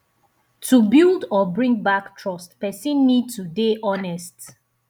to build or bring back trust person need to dey honest